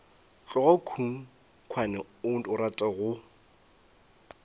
tloga khunkhwane o rata go